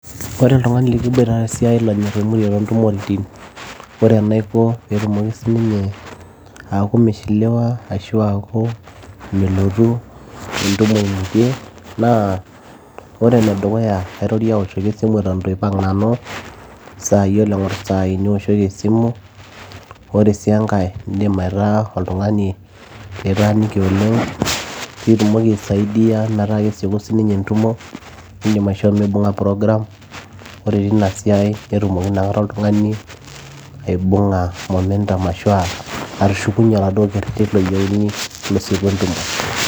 ore oltung'ani likiboita tesiai lonyorr aimutie tontumoritin ore enaiko peetumoki sininye aaku mishiliwa ashu aaku melotu entumo imutie naa ore enedukuya kaitoriei awoshoki esimu eton itu aipang nanu, yiolo engorr isaai nioshoki esimu ore sii enkay indim aitaa oltung'ani litaaniki oleng piituumoki aisaidia metaa kesieku siininye entumo indim aishoo mibung'a program ore tina siai netumoki inakata oltung'ani aibung'a momentum ashu uh atushukunyie oladuo kerreti loyieuni losieku entumo.